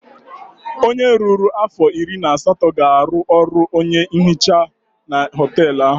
Onye ruru afọ iri na asatọ ga-arụ ọrụ onye nhicha na họteelụ ahụ.